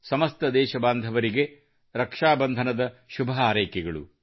ಸಮಸ್ತ ದೇಶಬಾಂಧವರಿಗೆ ರಕ್ಷಾ ಬಂಧನದ ಶುಭಹಾರೈಕೆಗಳು